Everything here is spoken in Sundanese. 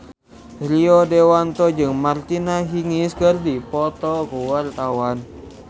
Rio Dewanto jeung Martina Hingis keur dipoto ku wartawan